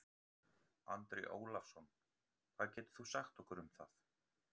Andri Ólafsson: Hvað getur þú sagt okkur um það?